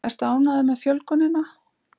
Ertu ánægður með fjölgunina?